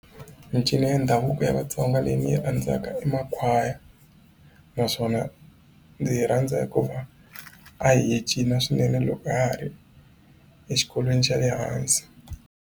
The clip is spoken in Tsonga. Mincino ya ndhavuko ya vatsonga leyi ni yi rhandzaka i makhwaya naswona ndzi yi rhandza hikuva a hi cina swinene loko ha ha ri exikolweni xa le hansi.